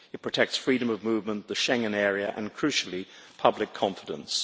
It protects freedom of movement, the Schengen area and crucially public confidence.